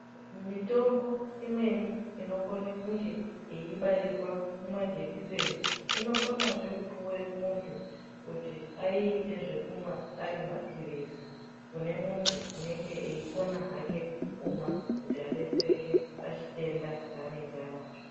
Mitombo imweni inokona kunge yeibairwa mumajikiseni inokonazve kupuwa muntu kuti aiite zvekumwa ari maphirizi kune muntu unenge eikona hake kumwa kuti adetsereke pachitenda chanenge anacho.